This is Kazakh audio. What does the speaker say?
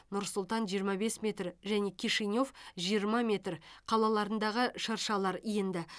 нұр сұлтан жиырма бес метр және кишинев жиырма метр қалаларындағы шыршалар енді